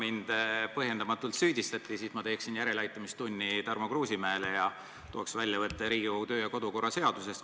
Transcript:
Kuna mind põhjendamatult süüdistati, siis ma teeksin Tarmo Kruusimäele järeleaitamistunni ning tooksin väljavõtte Riigikogu kodu- ja töökorra seadusest.